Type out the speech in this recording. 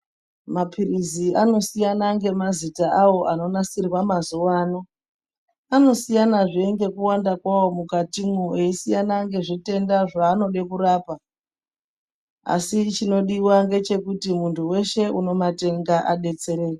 Maphirizi anosiyana nemazita awo anonasirwa mazuwano, anosiyazve ngekuwanda kwawo mukatimwo eisiyana ngezvitenda zvaanode kurapa asi chinodiwa ngechekuti muntu weshe unomatenga adetsereke.